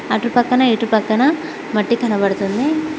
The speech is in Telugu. అటుపక్కన ఇటు పక్కన మట్టి కనపడుతుంది.